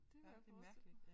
Det kunne jeg forestille mig